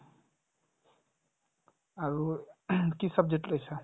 আৰু কি subject লৈছা ?